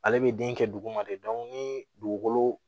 Ale bɛ den kɛ duguma de ni dugukolo